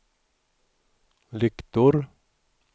lyktor